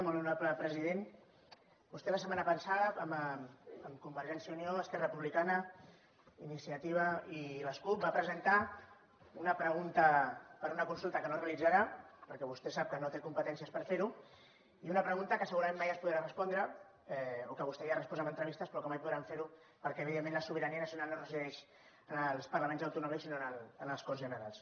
molt honorable president vostè la setmana passada amb convergència i unió esquerra republicana iniciativa i les cup va presentar una pregunta per a una consulta que no es realitzarà perquè vostè sap que no té competències per fer ho i una pregunta que segurament mai es podrà respondre o que vostè ja ha respost en entrevistes però que mai podran fer ho perquè evidentment la sobirania nacional no resideix en els parlaments autonòmics sinó a les corts generals